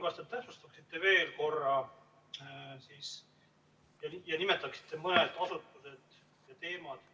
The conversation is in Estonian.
Kas te palun täpsustaksite veel korra ja nimetaksite mõned asutused ning teemad,